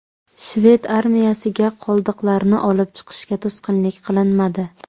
Shved armiyasiga qoldiqlarni olib chiqishga to‘sqinlik qilinmadi.